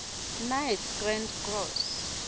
knights grand cross